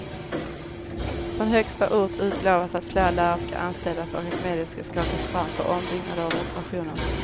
Från högsta ort utlovas att fler lärare ska anställas och att medel ska skakas fram för ombyggnader och reparationer.